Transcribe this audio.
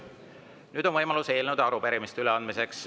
Nüüd on võimalus eelnõude ja arupärimiste üleandmiseks.